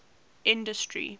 industry